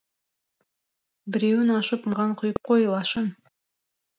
біреуін ашып маған құйып қой лашын